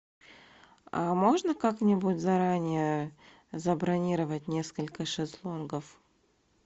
а можно как нибудь заранее забронировать несколько шезлонгов